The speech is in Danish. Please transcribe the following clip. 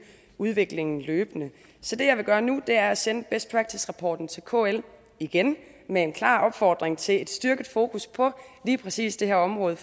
udviklingen løbende så det jeg vil gøre nu er at sende best practice rapporten til kl igen med en klar opfordring til et styrket fokus på lige præcis det her område